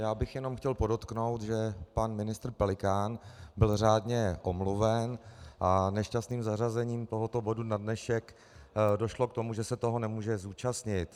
Já bych jenom chtěl podotknout, že pan ministr Pelikán byl řádně omluven, a nešťastným zařazením tohoto bodu na dnešek došlo k tomu, že se toho nemůže zúčastnit.